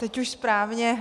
Teď už správně.